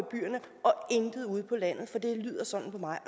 intet ude på landet det lyder sådan for mig